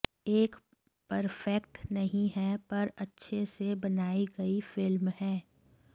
एक परफेक्ट नहीं है पर अच्छे से बनाई गई फिल्म है